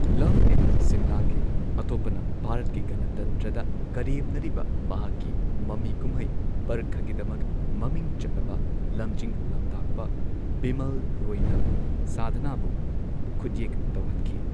Love in ꯁꯤꯝꯂꯥꯒꯤ ꯑꯇꯣꯞꯄꯅ , ꯚꯥꯔꯠꯀꯤ ꯒꯅꯇꯟꯇ꯭ꯔꯗ ꯀꯔꯦꯝꯅꯔꯤꯕ ꯃꯍꯥꯛꯀꯤ ꯃꯃꯤ ꯀꯨꯝꯍꯩ, ꯄꯔꯈꯒꯤꯗꯃꯛ ꯃꯃꯤꯡ ꯆꯠꯂꯕ ꯂꯝꯖꯤꯡ ꯂꯝꯇꯥꯛꯄ ꯕꯤꯃꯜ ꯔꯣꯏꯅ ꯁꯥꯙꯅꯥꯕꯨ ꯈꯨꯠꯌꯦꯛ ꯇꯧꯍꯟꯈꯤ꯫